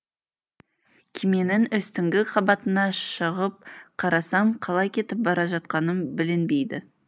кеменің үстіңгі қабатына шығып қарасам қалай кетіп бара жатқаным білінбейді